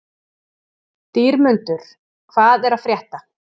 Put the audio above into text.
Dýrmundur, hvað er að frétta?